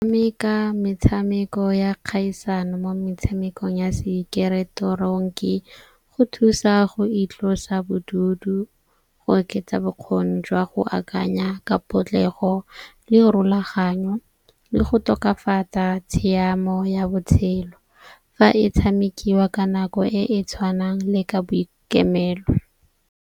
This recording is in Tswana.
Metshameko ya kgaisano mo metshamekong ya sekeretoronki go thusa go itlosa bodutu, go oketsa bokgoni jwa go akanya ka potlego le go rolaganyo le go tokafatsa tshiamo ya botshelo. Fa e tshamekiwa ka nako e e tshwanang le ka boikemelo.